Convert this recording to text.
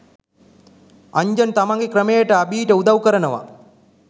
අන්ජන් තමන්ගේ ක්‍රමයට අභී ට උදව් කරනවා